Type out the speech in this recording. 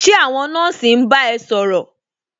Ṣé àwọn nọ́ọ̀sì ń bá ẹ ṣòrọ̀?